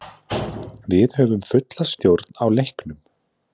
Við höfðum fulla stjórn á leiknum.